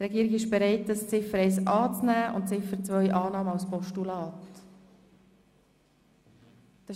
– Die Regierung ist zur Annahme von Ziffer 1 als Motion und von Ziffer 2 als Postulat bereit.